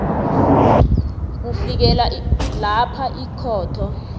kufikela lapha ikhotho